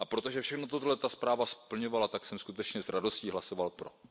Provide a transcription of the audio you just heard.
A protože všechno toto ta zpráva splňovala, tak jsem skutečně s radostí hlasoval pro.